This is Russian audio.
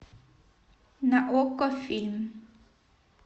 на окко фильм